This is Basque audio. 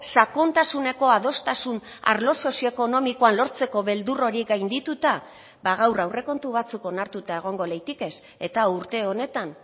sakontasuneko adostasun arlo sozioekonomikoan lortzeko beldur hori gaindituta ba gaur aurrekontu batzuk onartuta egongo lirateke eta urte honetan